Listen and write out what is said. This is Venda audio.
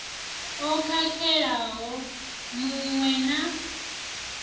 o khakhelaho mu we na